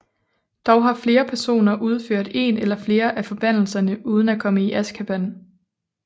Dog har flere personer udført en eller flere af forbandelserne uden at komme i Azkaban